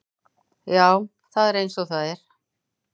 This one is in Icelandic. Já, það er eins og það er.